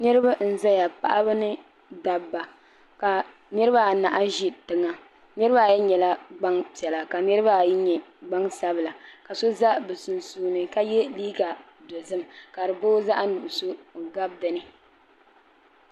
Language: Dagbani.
Niriba n zaya paɣaba ni dobba ka niriba anahi ʒi tiŋa niriba ayi nyɛla gbampiɛla ka niriba ayi nyɛ gbansabla ka so za bɛ sunsuuni ka ye liiga dozim ka di boo zaɣa nuɣuso n gabi dinni.